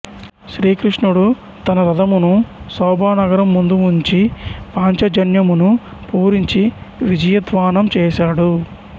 శ్రీకృష్ణుడు తన రథమును సౌభానగరం ముందు ఉంచి పాంచజన్యమును పూరించి విజయధ్వానం చేసాడు